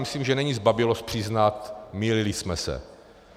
Myslím, že není zbabělost přiznat: Mýlili jsme se.